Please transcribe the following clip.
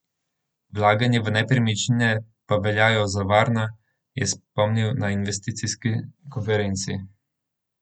Vlaganja v nepremičnine pa veljajo za varna, je spomnil na investicijski konferenci.